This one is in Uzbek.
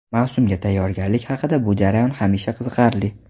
Mavsumga tayyorgarlik haqida Bu jarayon hamisha qiziqarli.